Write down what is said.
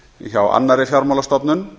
hjá annarri fjármálastofnun